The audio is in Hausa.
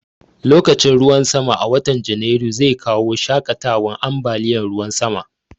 Lokacin ruwan sama a watan Janairu zai kawo shaƙatawan ambaliyan ruwan sama